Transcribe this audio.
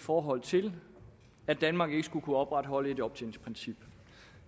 forhold til at danmark ikke skulle kunne opretholde et optjeningsprincip